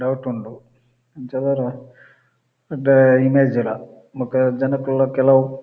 doubt ಉಂಡು ಎಡ್ಡೆ image ಲ ಬೊಕ್ಕ ಜನಕುಲ್ಲ ಕೆಲವು--